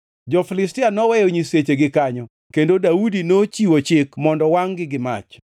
Jo-Filistia noweyo nyisechegi kanyo kendo Daudi nochiwo chik mondo wangʼ-gi gi mach.